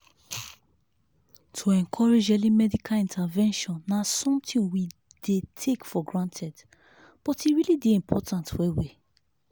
to encouraging early medical intervention na something we dey take for granted but e really dey important well well.